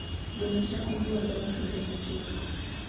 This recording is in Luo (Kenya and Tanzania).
Gweno chako nyuol bang' kinde machuok.